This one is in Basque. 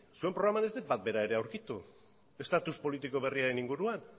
zure programan ez dut bat bera ere aurkitu status politiko berriaren inguruan